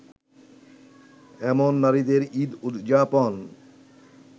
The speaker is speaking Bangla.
এমন নারীদের ঈদ উদযাপন